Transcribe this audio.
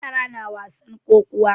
Yara na wasan kokuwa.